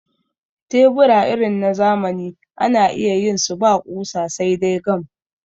tebura irin na zamani ana iya yin su ba ƙusa sai dai gam